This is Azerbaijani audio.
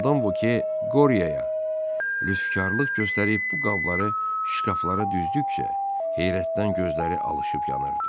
Madam Voke Qoryoya lüskarlıq göstərib bu qabları şkaflara düzdükcə heyrətdən gözləri alışırıb yanırdı.